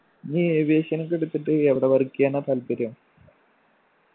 നീ aviation ഒക്കെ എടുത്തിട്ട് എവിടെ work ചെയ്യാനാ താല്പര്യം